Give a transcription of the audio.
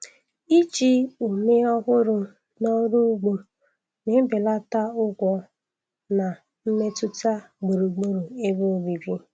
Ịji ume ọhụrụ n’ọrụ ugbo na-ebelata ụgwọ na mmetụta gburugburu ebe obibi.